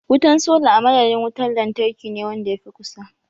Wutan sola a madadin wuntar lantarkine wanda ya fi kusa.